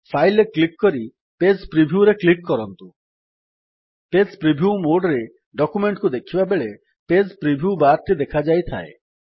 Fileରେ click କରି page Previewରେ click କରନ୍ତୁ ପେଜ୍ ପ୍ରିଭ୍ୟୁ ମୋଡ୍ ରେ ଡକ୍ୟୁମେଣ୍ଟ୍ କୁ ଦେଖିବାବେଳେ ପେଜ୍ ପ୍ରିଭ୍ୟୁ ବାର୍ ଟି ଦେଖାଯାଇଥାଏ